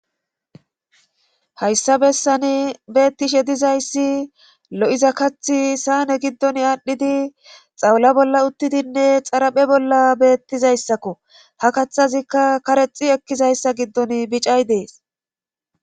hayssa bessani beettishe dizayssi lo7iza kathi saane giddon aadhdhidi xawula bolla uttidinne xaraphe bolla beettizayssakko ha kathazikka karexi ekkizayssa giddon bicay dees